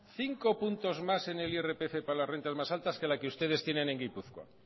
cinco puntos más en el irpf para las rentas más altas que la que ustedes tienen en gipuzkoa